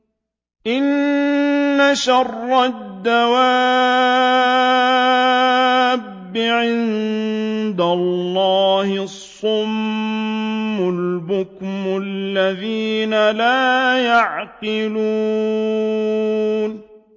۞ إِنَّ شَرَّ الدَّوَابِّ عِندَ اللَّهِ الصُّمُّ الْبُكْمُ الَّذِينَ لَا يَعْقِلُونَ